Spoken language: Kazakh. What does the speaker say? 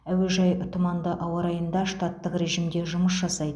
әуежай тұманды ауа райында штаттық режімде жұмыс жасайды